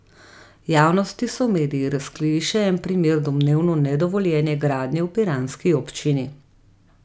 Javnosti so mediji razkrili še en primer domnevno nedovoljene gradnje v piranski občini.